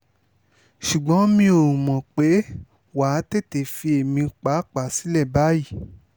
ṣùgbọ́n mi ò mọ̀ pé wà á tètè fi èmi páàpáà sílẹ̀ báyìí